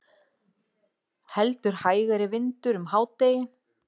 Heldur hægari vindur um hádegi